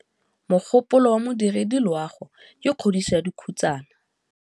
Mogôpolô wa Modirediloagô ke kgodiso ya dikhutsana.